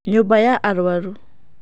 Nyũmba ya arũaru.